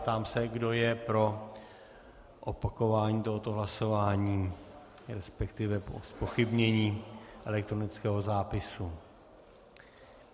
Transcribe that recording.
Ptám se, kdo je pro opakování tohoto hlasování, respektive pro zpochybnění elektronického zápisu.